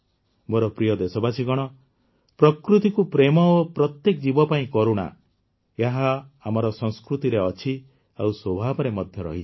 ମୋର ପ୍ରିୟ ଦେଶବାସୀଗଣ ପ୍ରକୃତିକୁ ପ୍ରେମ ଓ ପ୍ରତ୍ୟେକ ଜୀବ ପାଇଁ କରୁଣା ଏହା ଆମର ସଂସ୍କୃତିରେ ଅଛି ଆଉ ସ୍ୱଭାବରେ ମଧ୍ୟ ରହିଛି